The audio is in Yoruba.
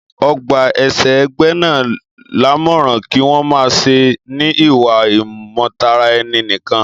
Ọ gbà èṣè égbé náà lámọ́ràn kí wọ́n má ṣè ní ìwà imọ̀tara ènì nìkan